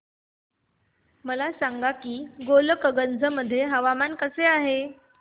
मला सांगा की गोलकगंज मध्ये हवामान कसे आहे